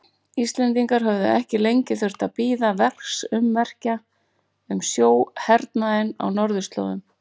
Íslendingar höfðu ekki lengi þurft að bíða verksummerkja um sjóhernaðinn á norðurslóðum.